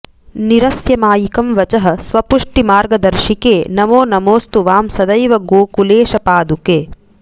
निरस्य मायिकं वचः स्वपुष्टिमार्गदर्शिके नमो नमोऽस्तु वां सदैव गोकुलेशपादुके